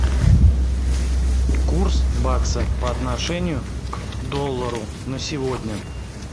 курс бакса по отношению к доллару на сегодня